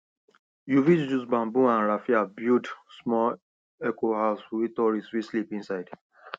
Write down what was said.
you fih use bamboo and raffia build small ecohouse wey tourists fit sleep inside